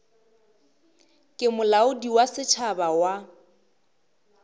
ke molaodi wa setšhaba wa